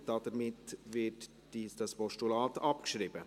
Damit wird das Postulat abgeschrieben.